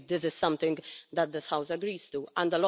I think this is something that this House agrees on.